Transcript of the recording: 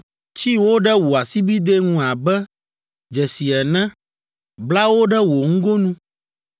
Tsi wo ɖe wò asibidɛ ŋu abe dzesi ene, bla wo ɖe wò ŋgonu,